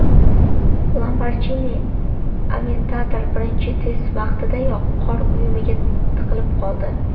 Lamborghini Aventador birinchi test vaqtidayoq qor uyumiga tiqilib qoldi .